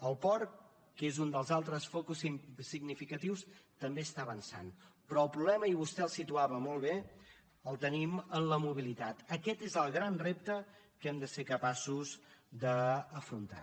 el port que és un dels altres focus significatius també està avançant però el problema i vostè el situava molt bé el tenim en la mobilitat aquest és el gran repte que hem de ser capaços d’afrontar